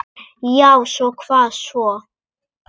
Já og hvað svo?